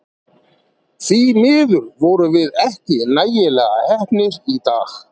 Því miður vorum við ekki nægilega heppnir í dag.